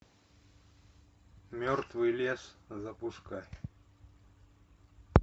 мертвый лес запускай